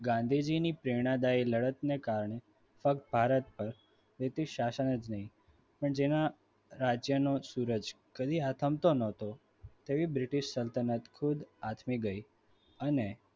ગાંધીજીની પ્રેરણાદાયી લડતને કારણે પગ ભારત પર british શાસનની પર જેના રાજ્યનો સુરજ કદી આથમતું ન હતો તેવી બ્રિટિશ સલ્તનત ખુદ આથમી ગઈ અને